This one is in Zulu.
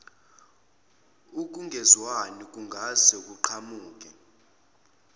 ukungezwani okungase kuqhamuke